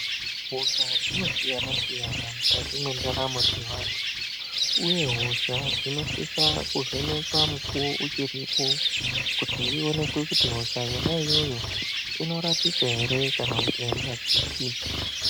Hosha dzinosiyana-siyanana mukati mendaramo dzeantu, uye hosha dzinosisa kuvhenekwa mukuwo uchiripo kuti ionekwe kuti hosha yona iyoyo inorapika ere kana kuti airapiki.